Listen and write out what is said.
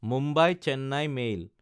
Mumbai-Chennai mail